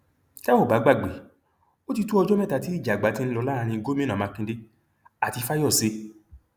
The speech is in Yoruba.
tẹ ò bá gbàgbé ó ti tó ọjọ mẹta tí ìjà àgbà ti ń lọ láàrin gomina makinde àti fáyọsé